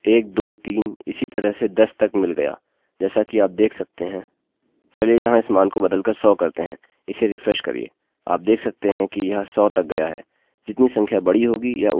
चलिए यहाँ इस मान को बदल कर 100 करते हैं इसे रिफ्रेश करिए आप देख सकते हैं यह सौ तक गया है जितनी संख्या बड़ी होगी यह उतना ही लम्बा लूपloop लेगा